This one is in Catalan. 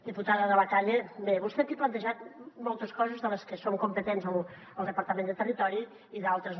diputada de la calle bé vostè aquí ha plantejat moltes coses de les que som competents el departament de territori i d’altres no